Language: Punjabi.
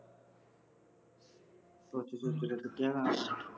ਤੁਹਾਡੀ ਬੀਬੀ ਤੋਂ ਜੁੱਤੀਆਂ ਖਾਣੀਆਂ